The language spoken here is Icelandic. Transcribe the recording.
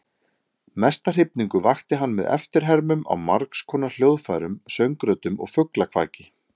Mesta hrifningu vakti hann með eftirhermum á margskonar hljóðfærum, söngröddum og fuglakvaki.